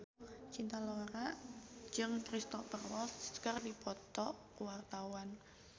Cinta Laura jeung Cristhoper Waltz keur dipoto ku wartawan